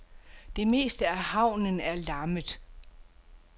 Det meste af havnen er lammet.